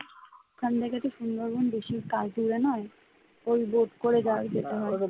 ওখান থেকেতো সুন্দরবন বেশি কাল দূরে নয় ওই boat করে যাওয়া যেতে